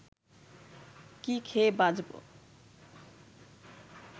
কি খেয়ে বাঁচব